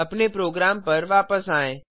अपने प्रोग्राम पर वापस आएँ